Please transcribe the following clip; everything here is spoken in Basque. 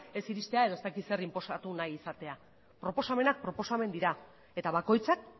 ez iristera edo ez dakit zer inposatu nahi izatea proposamenak proposamenak dira eta bakoitzak